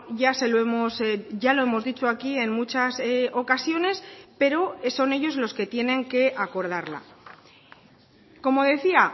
ya se lo hemos ya lo hemos dicho aquí en muchas ocasiones pero son ellos los que tienen que acordarla como decía